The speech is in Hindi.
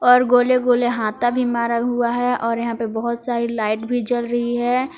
और गोले गोले हाता भी मरा हुआ है और यहां पे बहुत सारी लाइट भी जल रही है।